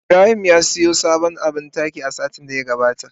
Ibrahim ya siyo sabon abin taki a satin da ya gabata.